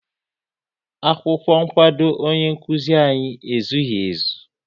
Akwụkwọ nkwado ọnye nkụzi anyị ezughị ezu